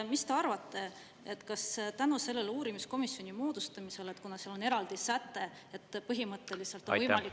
Mis te arvate, kas tänu selle uurimiskomisjoni moodustamisele, kuna seal on eraldi säte, et põhimõtteliselt on võimalik …